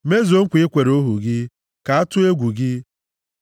Mezuo nkwa i kwere ohu gị, ka a tụọ egwu gị.